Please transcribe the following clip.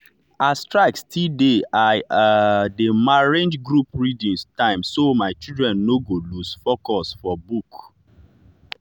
as strike still dey i um dey arrange group reading time so my children no go lose focus for book.